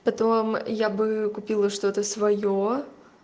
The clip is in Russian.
потом я бы купила что-то своё